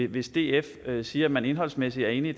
hvis df siger at man indholdsmæssigt er enig i